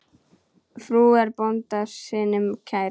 Frú er bónda sínum kær.